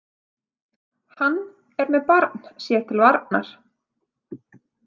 Hann er með barn sér til varnar.